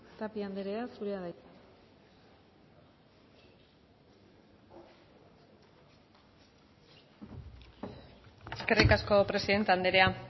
tapia andrea zurea da hitza eskerrik asko presidente andrea